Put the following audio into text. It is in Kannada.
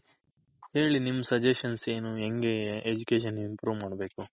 ಹೇಳಿ ನಿಮ್ suggestion ಏನು ಹೆಂಗೆ Education Improve ಮಾಡ್ಬೇಕು?